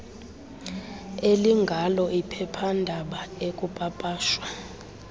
elingalo iphephandaba ekupapashwa